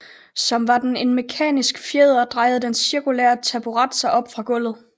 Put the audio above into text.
Som var den en mekanisk fjeder drejer den cirkulære taburet sig op fra gulvet